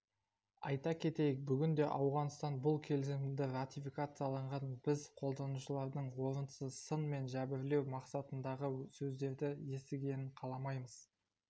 айта кетейік бүгінде ауғанстан бұл келісімді ратификациялаған біз қолданушылардың орынсызсын мен жәбірлеу мақсатындағы сөздерді естігенін қаламаймыз